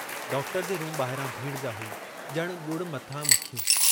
Doctor जे room ॿाहिरां भीड़ जा हुई, ॼणु ॻुड़ मथां मखियूं।